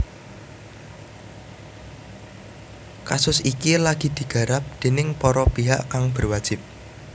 Kasus iki lagi digarap déning para pihak kang berwajib